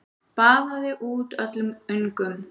Baðaði út öllum öngum.